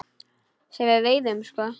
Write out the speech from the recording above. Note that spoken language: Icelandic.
Sem við veiðum sko?